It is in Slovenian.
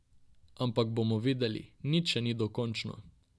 Ampak bomo videli, nič še ni dokončno.